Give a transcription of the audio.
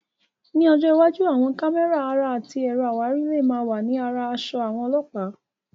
Ní ọjọ́ iwájú, àwọn kámẹ́rà ara àti ẹ̀rọ àwárí lè máa wà ní ara aṣọ àwọn Ọlọ́pàá.